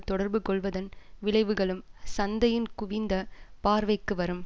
தொடர்பு கொள்வதன் விளைவுகளும் சந்தையின் குவிந்த பார்வைக்கு வரும்